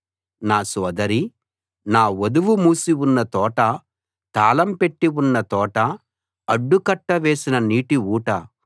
నా సోదరి నా వధువు మూసి ఉన్న తోట తాళం పెట్టి ఉన్న తోట అడ్డు కట్ట వేసిన నీటి ఊట